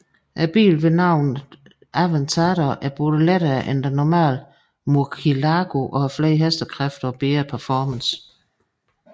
Bilen med navnet Aventador er både lettere end den normale murcielago og har flere hestekræfter og bedre performance